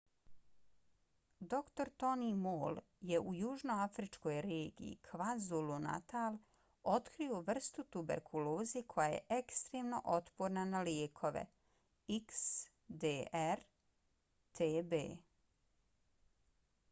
dr. tony moll je u južnoafričkoj regiji kwazulu-natal otkrio vrstu tuberkuloze koja je ekstremno otporna na lijekove xdr-tb